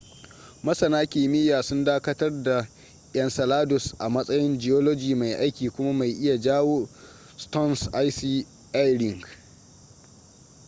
masana kimiya sun dakatar da enceladus a matsayin geology mai aiki kuma mai iya jawo saturn's icy e ring